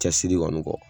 Cɛsiri kɔni kɔ